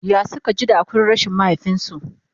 ya Suka ji da hakurin rashin mahaifinsu?